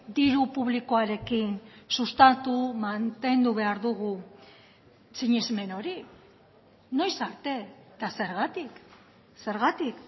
diru publikoarekin sustatu mantendu behar dugu sinesmen hori noiz arte eta zergatik zergatik